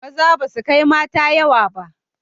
Maza basu kai mata yawa ba